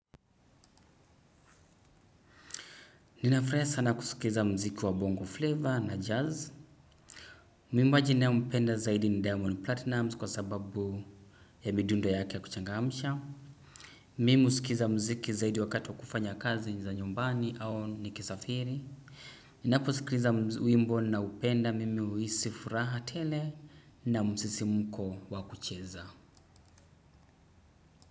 Ninafraia sana kusikiza mziki wa bongo flavour na jazz mwimbaji nayempenda zaidi ni diamond platnumz kwa sababu ya midundo yake ya kuchangamsha. Mimi usikiza mziki zaidi wakati wa kufanya kazi ni za nyumbani au ni kisafiri. Ninapo usikiza wimbo na upenda mimi uisi furaha tele na msisi mko wakucheza.